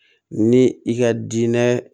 Ni i ka diinɛ